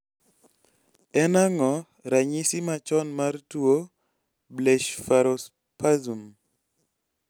En ang'o ranyisi machon mar tuo Blespharospasm?